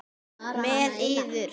Með yður!